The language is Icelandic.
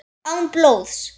Án blóðs.